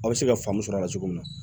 Aw bɛ se ka faamuya cogo min na